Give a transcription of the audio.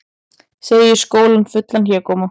Segir skólann fullan hégóma